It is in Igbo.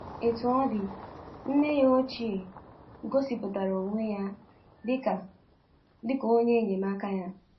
Otú ọ dị, nne ya ochie gosipụtara onwe ya dị ka dị ka onye enyemaka ya.